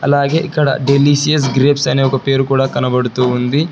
అలాగే ఇక్కడ delicious grapes అని ఒక పేరు కూడా కనబడుతుంది.